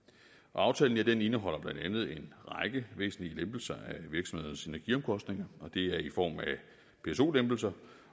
aftalen indeholder blandt andet en række væsentlige lempelser af virksomhedernes energiomkostninger og det er i form af pso lempelser